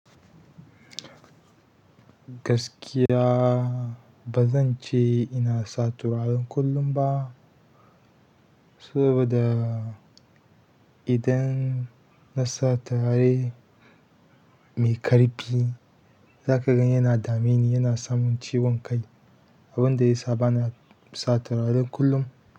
Gaskiya ba zan ce ina sa turaren kullum ba, saboda idan na sa turare mai ƙarfi, za ka ga yana dame ni, yana samin ciwon kai, abin da ya sa ba na sa turaren kullum.